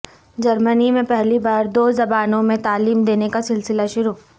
جرمنی میں پہلی بار دو زبانوں میں تعلیم دینے کا سلسلہ شروع